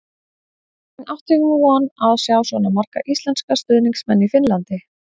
En átti hún von á að sjá svona marga íslenska stuðningsmenn í Finnlandi?